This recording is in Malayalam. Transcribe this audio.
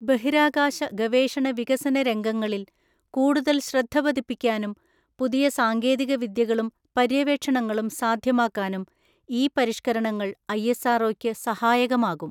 ബഹിരാകാശ ഗവേഷണ വികസന രംഗങ്ങളില്‍ കൂടുതല്‍ ശ്രദ്ധ പതിപ്പിക്കാനും പുതിയ സാങ്കേതിക വിദ്യകളും പര്യവേക്ഷണങ്ങളും സാധ്യമാക്കാനും ഈ പരിഷ്കരണങ്ങള്‍ ഐഎസ്ആര്‍ ഒയ്ക്ക് സഹായകമാകും.